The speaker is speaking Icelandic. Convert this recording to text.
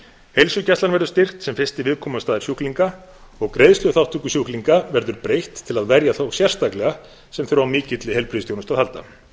heilsugæslan verður styrkt sem fyrsti viðkomustaður sjúklinga og greiðsluþátttöku sjúklinga verður breytt til að verja þá sérstaklega sem þurfa á mikilli heilbrigðisþjónustu að halda